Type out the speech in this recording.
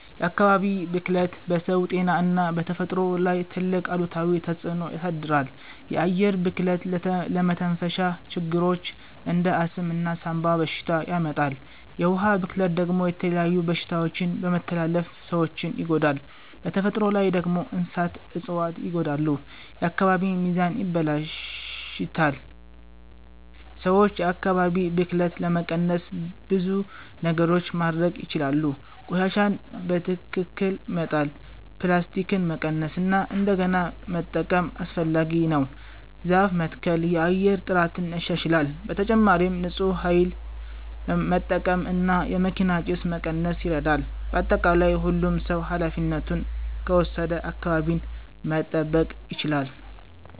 የአካባቢ ብክለት በሰው ጤና እና በተፈጥሮ ላይ ትልቅ አሉታዊ ተፅዕኖ ያሳድራል። የአየር ብክለት ለመተንፈሻ ችግሮች እንደ አስም እና ሳንባ በሽታ ያመጣል። የውሃ ብክለት ደግሞ የተለያዩ በሽታዎችን በመተላለፍ ሰዎችን ይጎዳል። በተፈጥሮ ላይ ደግሞ እንስሳትና እፅዋት ይጎዳሉ፣ የአካባቢ ሚዛንም ይበላሽታል። ሰዎች የአካባቢ ብክለትን ለመቀነስ ብዙ ነገሮች ማድረግ ይችላሉ። ቆሻሻን በትክክል መጣል፣ ፕላስቲክን መቀነስ እና እንደገና መጠቀም (recycle) አስፈላጊ ነው። ዛፍ መትከል የአየር ጥራትን ያሻሽላል። በተጨማሪም ንፁህ ኃይል መጠቀም እና የመኪና ጭስ መቀነስ ይረዳል። በአጠቃላይ ሁሉም ሰው ኃላፊነቱን ከወሰደ አካባቢን መጠበቅ ይቻላል።